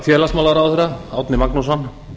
félagsmálaráðherra árni magnússon